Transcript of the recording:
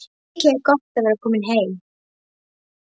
Mikið er gott að vera komin heim!